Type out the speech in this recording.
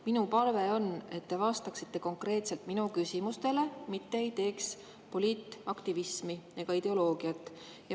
Minu palve on, et te vastaksite konkreetselt minu küsimustele, mitte ei tegeleks poliitaktivismi ega ideoloogiaga.